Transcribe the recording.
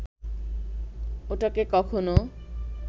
ওটাকে কখনো